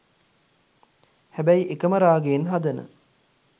හැබැයි එකම රාගයෙන් හදන